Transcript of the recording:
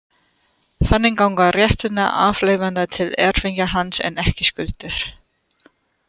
Þannig ganga réttindi arfleifanda til erfingja hans en ekki skuldir.